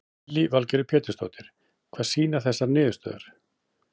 Lillý Valgerður Pétursdóttir: Hvað sýna þessar niðurstöður?